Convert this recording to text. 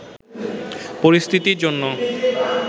পরিস্থিতির জন্য